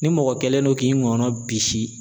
Ni mɔgɔ kɛlen don k'i ngɔnɔ bisi.